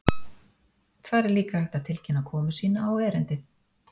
Þar er líka hægt að tilkynna komu sína á erindið.